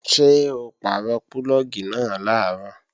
Ṣé o pàrọ̀ púlọ̀gì náà làárọ̀?